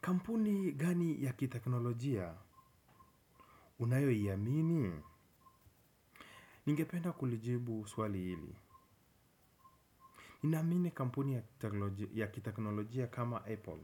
Kampuni gani ya kiteknolojia? Unayo iamini? Ningependa kulijibu swali hili. Ninamini kampuni ya kiteknolojia kama Apple.